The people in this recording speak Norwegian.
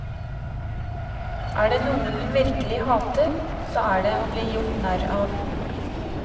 Er det noe hun virkelig hater, så er det å bli gjort narr av.